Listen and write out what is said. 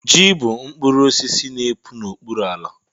ji bụ mkpụrụ osisi n'epu n'okpuru ala